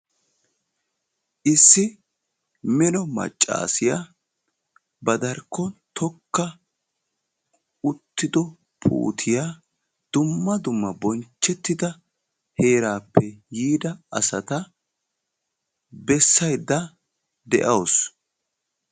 issi melo maccassiya ba darkkon tokka uttiddo puuttiya dumma dumma bonchchetidda heerappe yiidda asaa bessaydda de'awus